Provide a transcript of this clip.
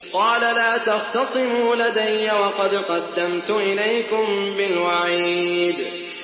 قَالَ لَا تَخْتَصِمُوا لَدَيَّ وَقَدْ قَدَّمْتُ إِلَيْكُم بِالْوَعِيدِ